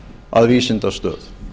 að vísindastöð